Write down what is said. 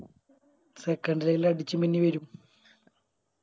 Secondary ല് അടിച്ച് മിന്നി വരും